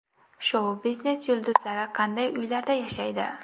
Shou-biznes yulduzlari qanday uylarda yashaydi?